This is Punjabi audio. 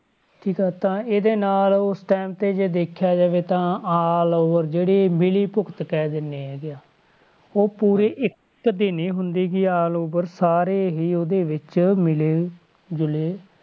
ਠੀਕ ਆ ਤਾਂ ਇਹਦੇ ਨਾਲ ਉਸ time ਤੇ ਜੇ ਦੇਖਿਆ ਜਾਵੇ ਤਾਂ allover ਜਿਹੜੀ ਮਿਲੀ ਭੁਗਤ ਕਹਿ ਦਿੰਦੇ ਹੈਗੇ ਹਾਂ, ਉਹ ਪੂਰੇ ਇੱਕ ਦੀ ਨੀ ਹੁੰਦੀ ਗੀ allover ਸਾਰੇ ਹੀ ਉਹਦੇ ਵਿੱਚ ਮਿਲੇ ਜੁਲੇ,